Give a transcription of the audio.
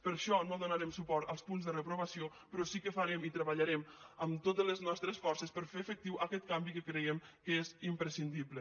per això no donarem suport als punts de reprovació però sí que farem i treballarem amb totes les nostres forces per fer a efectiu aquest canvi que creiem que és imprescindible